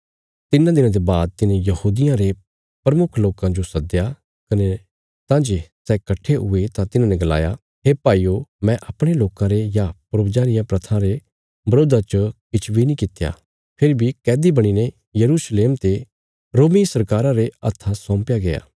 तिन्नां दिनां ते बाद तिने यहूदियां रे प्रमुख लोकां जो सदया कने तां जे सै कट्ठे हुये तां तिन्हांने गलाया हे भाईयो मैं अपणे लोकां रे या पूर्वजां रियां प्रथां रे बरोधा च किछ बी नीं कित्या फेरी बी कैदी बणीने यरूशलेम ते रोमी सरकारा रे हत्था सौंपया गया